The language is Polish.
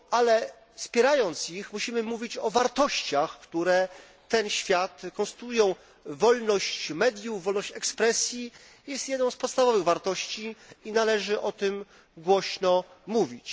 Ale wspierając ich musimy mówić o wartościach, które ten świat konstruują wolność mediów, wolność ekspresji jest jedną z podstawowych wartości i należy o tym głośno mówić.